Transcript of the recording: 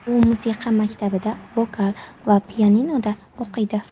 U musiqa maktabida, vokal va pianinoda o‘qiydi.